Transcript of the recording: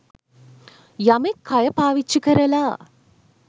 යමෙක් කය පාවිච්චි කරලා